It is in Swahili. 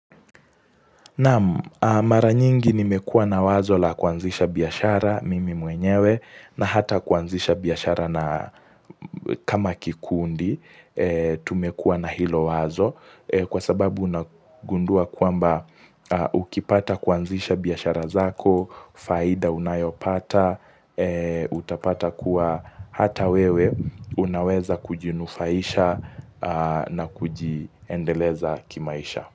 Naam mara nyingi nimekua na wazo la kuanzisha biashara mimi mwenyewe na hata kuanzisha biashara na kama kikundi tumekua na hilo wazo kwa sababu unagundua kwamba ukipata kuanzisha biashara zako, faida unayopata, utapata kuwa hata wewe unaweza kujinufaisha na kujiendeleza kimaisha.